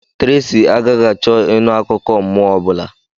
Tracy agaghị achọ ịnụ akụkọ mmụọ ọ bụla.